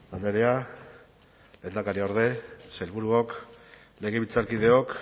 andrea lehendakariorde sailburuok legebiltzarkideok